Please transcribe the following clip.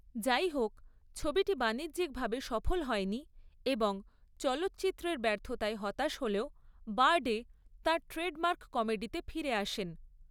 যাইহোক, ছবিটি বাণিজ্যিকভাবে সফল হয়নি এবং চলচ্চিত্রের ব্যর্থতায় হতাশ হলেও বারডে তাঁর ট্রেডমার্ক কমেডিতে ফিরে আসেন।